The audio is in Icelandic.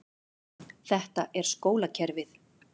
Þetta er skólakerfið.